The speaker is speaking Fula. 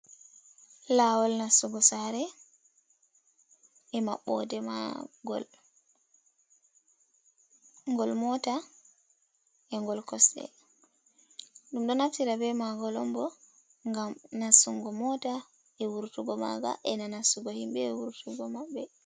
Laawol nastugo saare e maɓɓoode maagol , ngol moota e ngol kosɗe, ɗum ɗo naftira be maagol on bo ngam nastungo moota e wurtugo maaga e na nastugo himɓe e wurtugo maɓɓe.